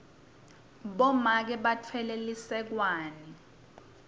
bomake batfwele lisekwane